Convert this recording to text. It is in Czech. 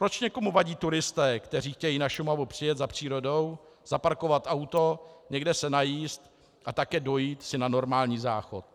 Proč někomu vadí turisté, kteří chtějí na Šumavu přijet za přírodou, zaparkovat auto, někde se najíst a také dojít si na normální záchod?